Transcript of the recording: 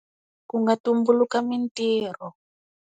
Ku nga tumbuluka mintirho.